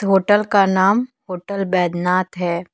Hotel का नाम hotel Baijnath है।